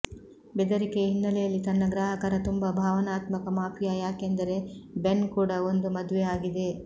ಬೆದರಿಕೆಯ ಹಿನ್ನೆಲೆಯಲ್ಲಿ ತನ್ನ ಗ್ರಾಹಕರ ತುಂಬಾ ಭಾವನಾತ್ಮಕ ಮಾಫಿಯಾ ಯಾಕೆಂದರೆ ಬೆನ್ ಕೂಡ ಒಂದು ಮದುವೆ ಆಗಿದೆ